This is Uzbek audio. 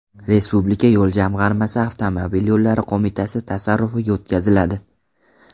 Respublika yo‘l jamg‘armasi Avtomobil yo‘llari qo‘mitasi tasarrufiga o‘tkaziladi.